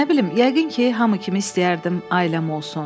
Nə bilim, yəqin ki, hamı kimi istəyərdim ailəm olsun.